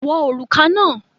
Wọ òrùka náà!